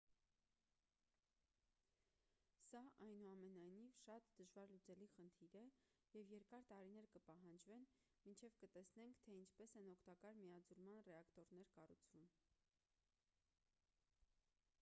սա այնուամենայնիվ շատ դժվարլուծելի խնդիր է և երկար տարիներ կպահանջվեն մինչև կտեսնենք թե ինչպես են օգտակար միաձուլման ռեակտորներ կառուցվում